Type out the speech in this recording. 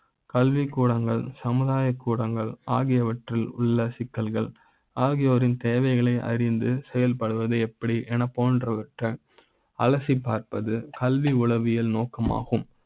கல்வி கூட ங்கள் சமுதாய கூட ங்கள் ஆகியவற்றி ல் உள்ள சிக்கல்கள் ஆகியோரி ன் தேவைகளை அறிந்து செயல்படுவது எப்படி அலசி ப் பார்ப்பது கல்வி உளவியல் நோக்க மாகும்